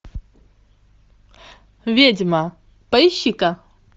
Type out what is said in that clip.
ведьма поищи ка